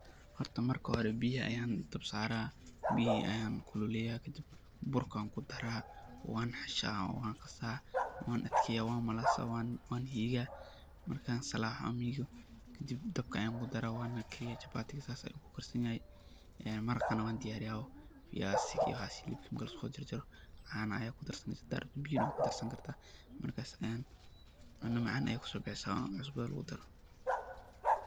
Horta marka hore biya ayaan dabka saara, biyihi ayaan kululeeya kadib burka ayaan kudaraa, waan xishaa oo waan qasaa, waan adkeeya, waan malaasa, waan hiiga, markaan salaaxo oo aan miigo, kadib dabka ayaan kudara waan kariya, chapatiga saas ayuu kukarsan yahay, maraqana waan diyaariya oo fiyaasiga iyo waxaas hilibka marka lasoo jarjaro, markaas cuno macaan ayeey kusoo baxeysa oona cusbada lagu daro.